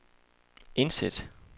indsæt